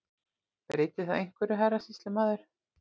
Breytir það einhverju, herra sýslumaður.